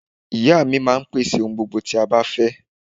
Ìya mi máa n pèsè ohun gbogbo tí a bá fẹ́